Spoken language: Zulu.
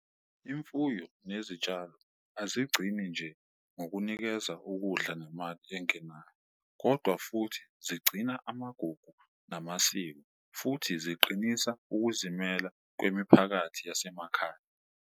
Imfuyo nezitshalo azigcini nje ngokunikeza ukudla nemali engenayo, kodwa futhi zigcina amagugu namasiko futhi ziqinisa ukuzimela kwemiphakathi yasemakhaya.